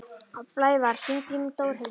Blævar, hringdu í Dórhildi.